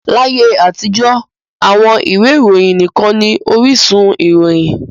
Láyé àtijọ́, àwọn ìwé ìròyìn nikan ni orísun ìròyìn.